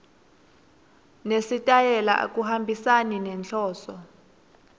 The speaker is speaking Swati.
nesitayela akuhambisani nenhloso